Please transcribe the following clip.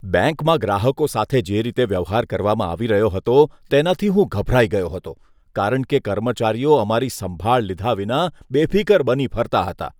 બેંકમાં ગ્રાહકો સાથે જે રીતે વ્યવહાર કરવામાં આવી રહ્યો હતો તેનાથી હું ગભરાઇ ગયો હતો કારણ કે કર્મચારીઓ અમારી સંભાળ લીધા વિના બેફીકર બની ફરતા હતા.